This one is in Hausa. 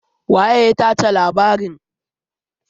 Waye ya tace labarin?